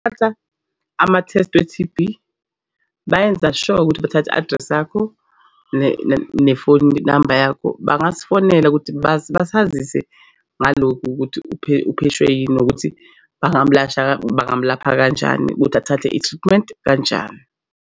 Thatha ama-test we-T_B bayenza sure ukuthi bathathe address yakho nefoni number yakho. Bangasifonela ukuthi basazise ngalokhu ukuthi upheshwe yini. Nokuthi bangamlapha kanjani ukuthi athathe i-treatment kanjani.